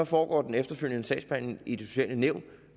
foregår den efterfølgende sagsbehandling i det sociale nævn